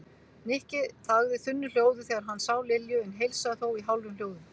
Nikki þagði þunnu hljóði þegar hann sá Lilju en heilsaði þó í hálfum hljóðum.